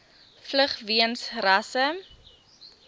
vlug weens rasse